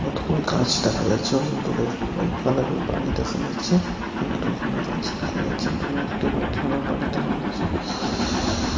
কতগুলি গাছ দেখা যাচ্ছে এবং দূরে একটি হোয়াইট কালারের বাড়ি দেখা যাচ্ছে এবং দোকান আঁকা আছে দেখা যাচ্ছে দূরে একটি হোয়াইট কালার বাড়ি দেখা যাচ্ছে ।